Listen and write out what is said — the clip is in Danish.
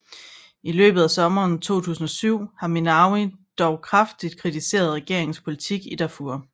I løbet af sommeren 2007 har Minnawi dog kraftigt kritiseret regeringens politik i Darfur